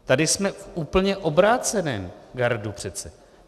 Tady jsme úplně v obráceném gardu přece.